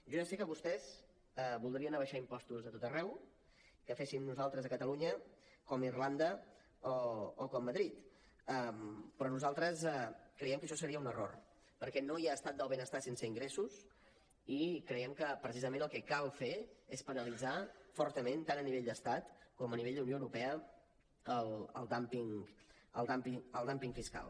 jo ja sé que vostès voldrien abaixar impostos a tot arreu que féssim nosaltres a catalunya com a irlanda o com a madrid però nosaltres creiem que això seria un error perquè no hi ha estat del benestar sense ingressos i creiem que precisament el que cal fer és penalitzar fortament tant a nivell d’estat com a nivell d’unió europea el dúmping fiscal